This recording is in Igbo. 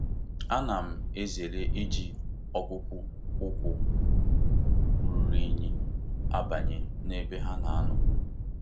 Ana m ezere iji akpụkpọ ụkwụ ruru unyi abanye na ebe ha nà ànó